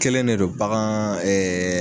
Kelen ne don bagan ɛɛ